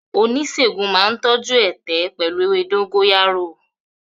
Oníṣègùn náà tọ́jú ẹ̀tẹ̀ pẹ̀lú ewé dógóyárò.